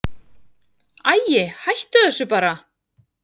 Æi, hættu þessu bara.